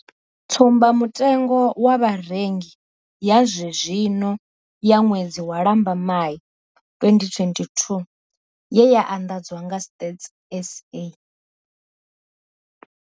Tsumba mutengo wa Vharengi ya zwezwino ya ṅwedzi wa Lambamai 2022 ye ya anḓadzwa nga Stats SA.